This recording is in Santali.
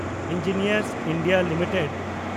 engineers India limited